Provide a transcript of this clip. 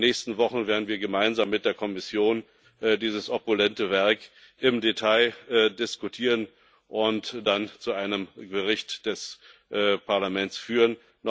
Aber in den nächsten Wochen werden wir gemeinsam mit der Kommission dieses opulente Werk im Detail diskutieren und dann zu einem Bericht des Parlaments führen.